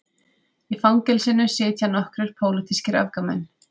Í fangelsinu sitja nokkrir pólitískir öfgamenn